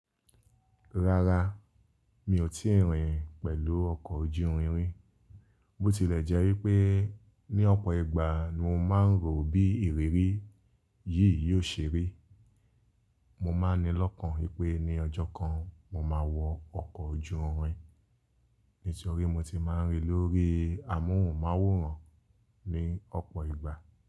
Rárá, mi ò tíì rìn pẹ̀lú ọkọ̀ ojú irin ri, bó tilẹ̀ jẹ́ wípé ní ọ̀pọ̀ ìgbà mo máa ń rò bí ìrírí yìí yóò ṣe rí. Mo máa ń ni lọ́kàn wípé ní ọjọ́ kan mo máa wọ ọkọ̀ ojú irin, nítorí mo ti máa ń rí lórí amóhùnmáwòrán ní ọ̀pọ̀ ìgbà.